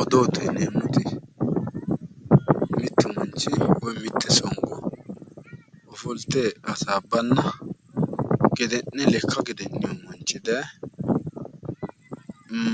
Odoote yinneemmoti mitu manchi woyi mite songo ofollite hasaabbanna gede'ne lekka gede'ninno manchi daaye